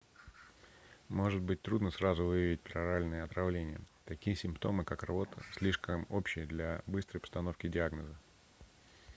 может быть трудно сразу выявить пероральное отравление такие симптомы как рвота слишком общие для быстрой постановки диагноза